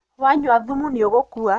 Wanyua thumu nĩũgũkua.